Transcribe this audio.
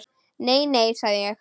Nei, nei, sagði ég.